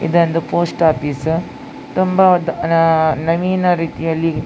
ಇದೊಂದು post office ತುಂಬಾ ನವೀನ ರೀತಿಯಲ್ಲಿ --